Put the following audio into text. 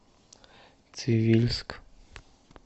цивильск